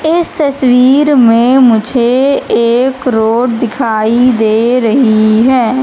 इस तस्वीर में मुझे एक रोड दिखाई दे रही हैं।